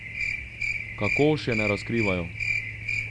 Kako, še ne razkrivajo.